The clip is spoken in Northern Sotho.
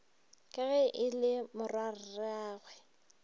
ka ge e le morwarragwe